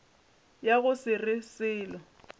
ya go se re selo